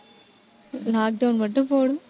lockdown மட்டும் போடும்